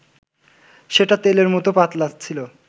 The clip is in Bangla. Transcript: সেটা তেলের মত পাতলা ছিল